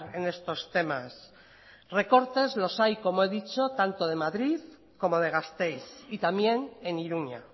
en estos temas recortes los hay como he dicho tanto de madrid como de gasteiz y también en iruña